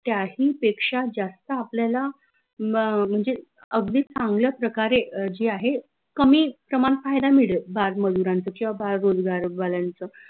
त्याही पेक्षा जास्त आपल्याला म म्हनजे अगदी चांगल्या प्रकारे जे आहे कमी प्रमान फायदा मिडेल बाल